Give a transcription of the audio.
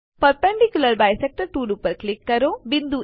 perpendicular bisector tool ઉપર click કરો